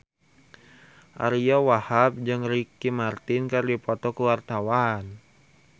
Ariyo Wahab jeung Ricky Martin keur dipoto ku wartawan